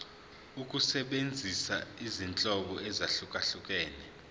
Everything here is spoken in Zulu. ukusebenzisa izinhlobo ezahlukehlukene